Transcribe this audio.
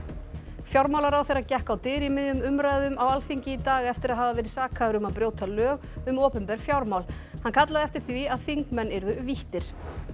fjármálaráðherra gekk á dyr í miðjum umræðum á Alþingi í dag eftir að hafa verið sakaður um að brjóta lög um opinber fjármál hann kallaði eftir því að þingmenn yrðu víttir